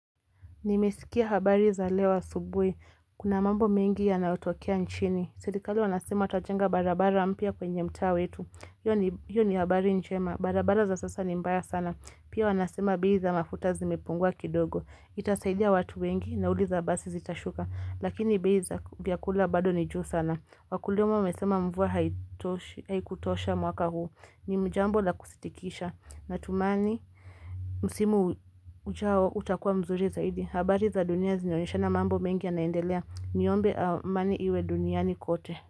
Nimesikia habari za leo asubuhi. Kuna mambo mengi ya nayotokea nchini. Serikali wanasema tutajenga barabara mpya kwenye mtaa wetu. Hiyo ni habari njema. Barabara za sasa ni mbaya sana. Pia wanasema bei za mafutamepungua kidogo. Itasaidia watu wengi. Nauli za basi zitashuka. Lakini bei za vyakula bado ni juu sana. Wakulima wamesema mvua haikutosha mwaka huu. Ni jambo la kusitikisha. Natumaini, msimu ujao utakuwa mzuri zaidi. Habari za dunia zinaonyeshana mambo mengi ya naendelea. Niombe amani iwe duniani kote.